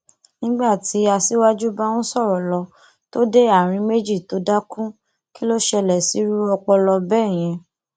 nígbà tí aṣíwájú bá ń sọrọ lọ tó dé àárín méjì tó dákú kí ló ṣẹlẹ sírú ọpọlọ bẹẹ yẹn